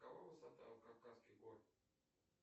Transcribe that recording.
какова высота кавказских гор